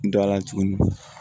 Dɔ a la tuguni